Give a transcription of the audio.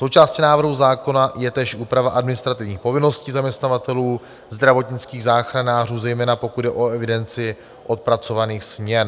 Součástí návrhu zákona je též úprava administrativních povinností zaměstnavatelů zdravotnických záchranářů, zejména pokud jde o evidenci odpracovaných směn.